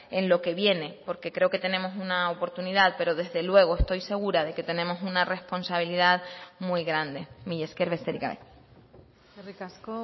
en lo que viene porque creo que tenemos una oportunidad pero desde luego estoy segura de que tenemos una responsabilidad muy grande mila esker besterik gabe eskerrik asko